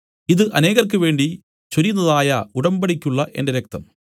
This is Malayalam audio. ഇതു അനേകർക്ക് വേണ്ടി ചൊരിയുന്നതായ ഉടമ്പടിക്കുള്ള എന്റെ രക്തം